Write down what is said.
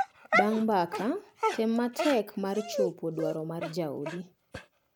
Bang’ mbaka, tem matek mar chopo dwaro mar jaodi.